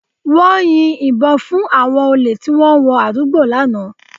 Wọ́n yin ìbọn fún àwọn olè tí wọ́n wọ àdúgbò lánàá